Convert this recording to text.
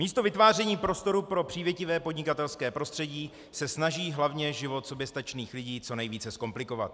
Místo vytváření prostoru pro přívětivé podnikatelské prostředí se snaží hlavně život soběstačných lidí co nejvíce zkomplikovat.